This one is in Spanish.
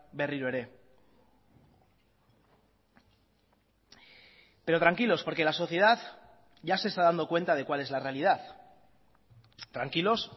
berriro ere pero tranquilos porque la sociedad ya se está dando cuenta de cuál es la realidad tranquilos